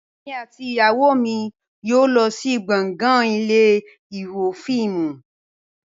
Èmi àti ìyàwó mi yóò lọ sí gbọ̀ngàn ilé ìwo fíìmù